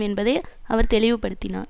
என்பதை அவர் தெளிவுபடுத்தினார்